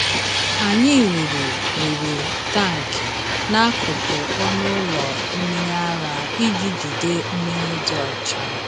Anyị wuru wuru tank n’akụkụ ọnụ ụlọ mmiri ara iji jide mmiri dị ọcha.